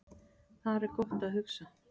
Þar er gott að hugsa